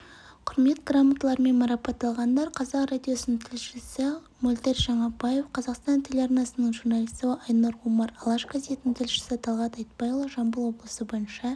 құрмет грамоталарымен марапатталғандар қазақ радиосының тілшісі мөлдір жаңабаев қазақстан телеарнасының журналисті айнұр омар алаш газетінің тілшісі талғат айтбайұлы жамбыл облысы бойынша